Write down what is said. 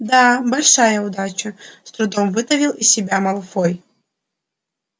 да большая удача с трудом выдавил из себя малфой